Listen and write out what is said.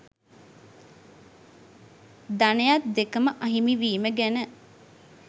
ධනයත් දෙකම අහිමිවීම ගැන